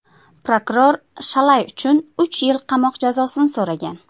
Prokuror Shalay uchun uch yil qamoq jazosini so‘ragan.